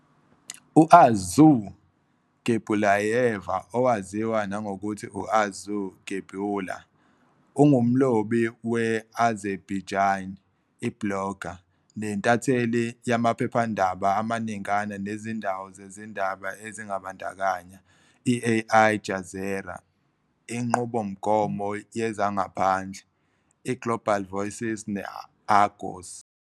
U-Arzu Geybullayeva, owaziwa nangokuthi u- Arzu Geybulla, ungumlobi we- Azerbaijani, i-blogger, nentatheli yamaphephandaba amaningana nezindawo zezindaba ezibandakanya i- Al Jazeera, Inqubomgomo Yezangaphandle, i- Global Voices, ne- Agos.